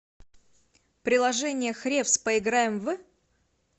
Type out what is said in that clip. приложение хревс поиграем в